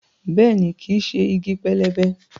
Bẹ́ẹ̀ni, kìí ṣe igi pẹlẹbẹ